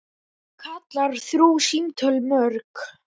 Hún kallar þrjú símtöl mörg.